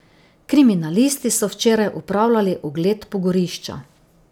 Kriminalisti so včeraj opravljali ogled pogorišča.